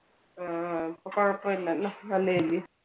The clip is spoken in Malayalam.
ആ ഇപ്പൊ കുഴപ്പം ഇല്ലല്ലോ നല്ലല്ലേ.